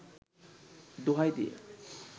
দোহাই দিয়ে